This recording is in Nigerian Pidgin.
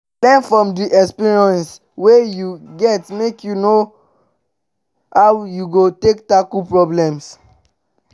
learn from di experience wey you get make you know how you go go tackle problems